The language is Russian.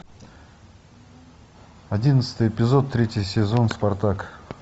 одиннадцатый эпизод третий сезон спартак